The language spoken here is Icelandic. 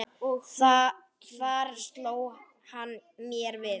Þar sló hann mér við.